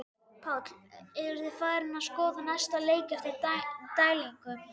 Páll: Eruð þið farnir að skoða næsta leik eftir dælingu?